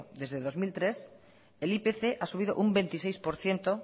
desde el dos mil tres el ipc ha subido un veintiséis por ciento